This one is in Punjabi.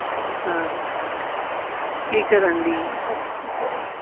ਹਾਂ ਕੀ ਕਰਨ ਰਹੀ ਆਂ?